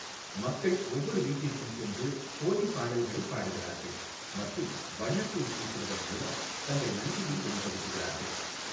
மக்கள் ஒவ்வொரு வீட்டிற்கும் சென்று ஹோலி பாடல்களைப் பாடுகிறார்கள் மற்றும் வண்ணத் தூள் பூசுவதன் மூலம் தங்கள் நன்றியை வெளிப்படுத்துகிறார்கள்.